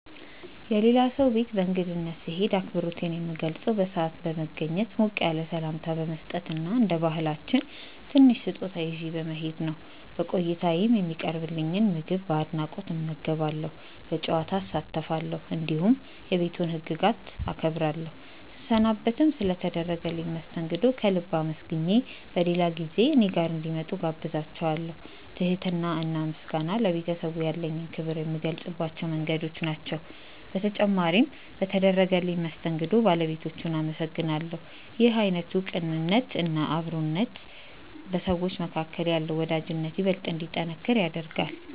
የሌላ ሰው ቤት በእንግድነት ስሄድ አክብሮቴን የምገልጸው በሰዓት በመገኘት፣ ሞቅ ያለ ሰላምታ በመስጠት እና እንደ ባህላችን ትንሽ ስጦታ ይዤ በመሄድ ነው። በቆይታዬም የሚቀርብልኝን ምግብ በአድናቆት እመገባለሁ፣ በጨዋታ እሳተፋለሁ፣ እንዲሁም የቤቱን ህግጋት አከብራለሁ። ስሰናበትም ስለ ተደረገልኝ መስተንግዶ ከልብ አመስግኜ በሌላ ጊዜ እኔ ጋር እንዲመጡ እጋብዛቸዋለው። ትህትና እና ምስጋና ለቤተሰቡ ያለኝን ክብር የምገልጽባቸው መንገዶች ናቸው። በተጨማሪም በተደረገልኝ መስተንግዶ ባለቤቶቹን አመሰግናለሁ። ይህ አይነቱ ቅንነት እና አክብሮት በሰዎች መካከል ያለውን ወዳጅነት ይበልጥ እንዲጠነክር ያደርጋል።